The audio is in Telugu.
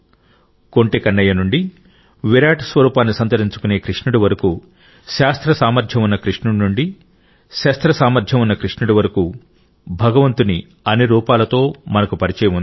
కొంటె కన్నయ్య నుండి విరాట్ స్వరూపాన్ని సంతరించుకునే కృష్ణుడి వరకు శాస్త్ర సామర్థ్యం ఉన్న కృష్ణుడి నుండి శస్త్ర సామర్థ్యం ఉన్న కృష్ణుడి వరకు భగవంతుని అన్ని రూపాలతో మనకు పరిచయం ఉంది